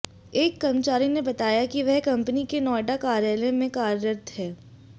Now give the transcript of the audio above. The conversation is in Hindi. एक कर्मचारी ने बताया कि वह कंपनी के नोएडा कार्यालय मे कार्यरत है